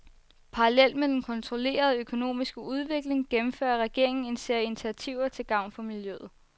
Parallelt med den kontrollerede økonomiske udvikling gennemfører regeringen en serie initiativer til gavn for miljøet.